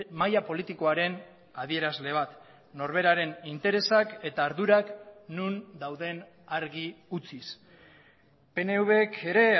maila politikoaren adierazle bat norberaren interesak eta ardurak non dauden argi utziz pnvk ere